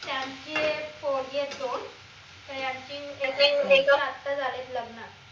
त्यांचे पोरगे आहेत दोन आता झालेत लग्न